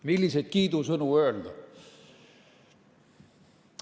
Milliseid kiidusõnu öelda?